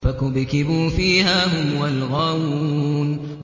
فَكُبْكِبُوا فِيهَا هُمْ وَالْغَاوُونَ